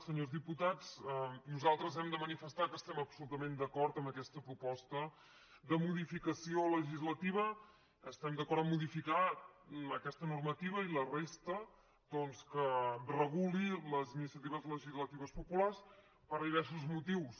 senyors diputats nosaltres hem de manifestar que estem absolutament d’acord amb aquesta proposta de modificació legislativa estem d’acord a modificar aquesta normativa i la resta doncs que reguli les iniciatives legislatives populars per diversos motius